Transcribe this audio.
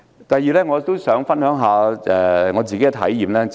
第二，我也想分享一下自身體驗。